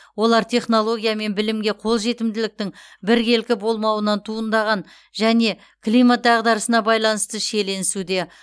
олар технология мен білімге қол жетімділіктің біркелкі болмауынан туындаған және климат дағдарысына байланысты шиеленесуде